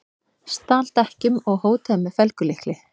Stal dekkjum og hótaði með felgulykli